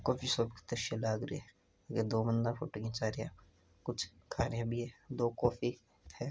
काफी सुंदर द्रष्य लाग रहियो हैं ये दो बन्दा फोटो खींचा रा हैंदो कॉफ़ी भी है।